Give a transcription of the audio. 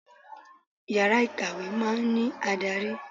Yàrá ìkàwé máa ń ní adarí.